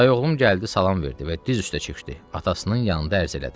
Dayı oğlum gəldi salam verdi və diz üstə çökdü atasının yanında ərz elədi.